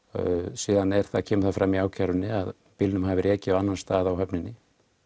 síðan kemur fram í ákærunni að bílnum hafi verið ekið á annan stað á höfninni